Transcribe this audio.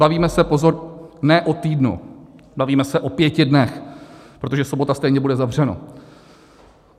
Bavíme se, pozor, ne o týdnu, bavíme se o pěti dnech, protože sobota stejně bude zavřeno.